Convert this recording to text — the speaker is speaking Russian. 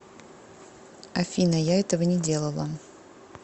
афина я этого не делала